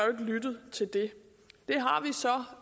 lyttet til det